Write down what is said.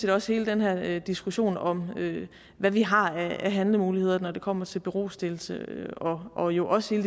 også hele den her diskussion om hvad vi har af handlemuligheder når det kommer til berostillelse og jo også hele